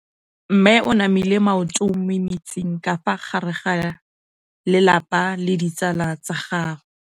Mme o namile maoto mo mmetseng ka fa gare ga lelapa le ditsala tsa gagwe.